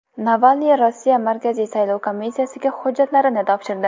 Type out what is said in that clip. Navalniy Rossiya markaziy saylov komissiyasiga hujjatlarini topshirdi.